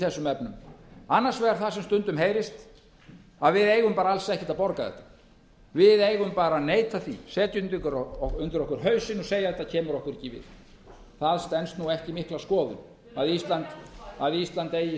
þessum efnum annars vegar það sem stundum heyrist að við eigum alls ekki að borga þetta við eigum bara að neita því setja undir okkur hausinn og segja þetta kemur okkur ekki við það stenst ekki mikla skoðun að ísland eigi slíka leið